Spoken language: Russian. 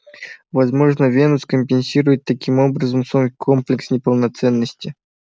возможно венус компенсирует таким образом свой комплекс неполноценности